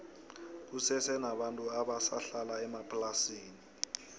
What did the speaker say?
kusese nabantu abasa hlala emaplasini